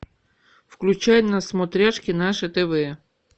включай на смотрешке наше тв